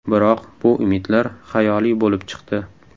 Biroq bu umidlar xayoliy bo‘lib chiqdi.